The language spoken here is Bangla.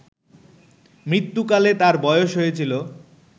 মৃত্যুকালে তাঁর বয়স হয়েছিল